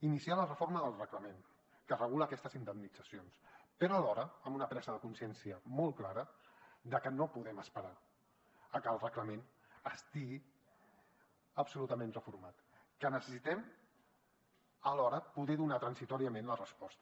iniciar la reforma del reglament que regula aquestes indemnitzacions però alhora amb una presa de consciència molt clara de que no podem esperar a que el reglament estigui absolutament reformat que necessitem alhora poder donar transitòriament la resposta